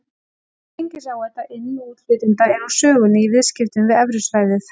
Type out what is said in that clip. Gengisáhætta inn- og útflytjenda er úr sögunni í viðskiptum við evrusvæðið.